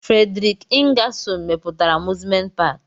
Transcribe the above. Frederik Ingasol mepụtara amuzment paki.